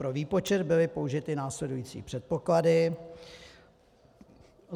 Pro výpočet byly použity následující předpoklady: